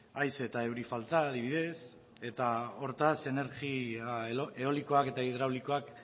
haize eta euri falta adibidez eta hortaz energia eolikoak eta hidraulikoak